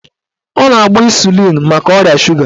Ọ na-agba ịsụlịn maka ọrịa suga